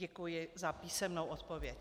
Děkuji za písemnou odpověď.